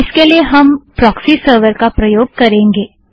इसके लिए हम प्रोक्सी सरवर का प्रयोग करेंगें